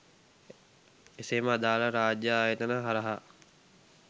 එසේම අදාල රාජ්‍යය ආයතන හරහා